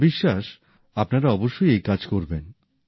আমার বিশ্বাস আপনারা অবশ্যই এই কাজ করবেন